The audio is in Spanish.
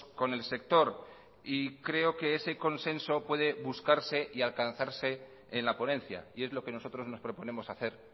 con el sector y creo que ese consenso puede buscarse y alcanzarse en la ponencia y es lo que nosotros nos proponemos hacer